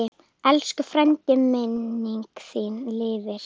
Elsku frændi, minning þín lifir.